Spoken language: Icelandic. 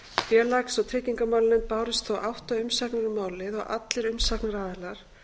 félags og tryggingamálanefnd bárust þó átta umsagnir um málið allir umsagnaraðilar